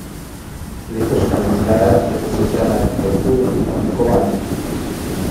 Letošnja izdaja je posvečena arhitekturi in oblikovanju.